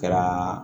Kɛra